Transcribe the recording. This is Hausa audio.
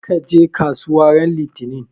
Kar ka je kasuwa ran Litinin!